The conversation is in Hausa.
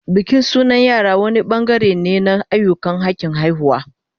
Bikin sunan yara wani bangare ne na ayyukan hakin haihuwa